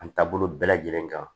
An taabolo bɛɛ lajɛlen kan